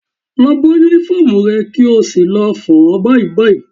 Lọ bọ́ Únífọ́ọ̀mù rẹ kí o sì lọ fọ̀ ọ́ báyìí báyìí